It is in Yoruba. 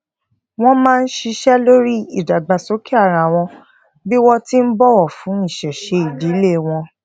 wọn máa n sise lori ìdàgbàsókè ara wọn bi won ti n bọwọ fún isese idile won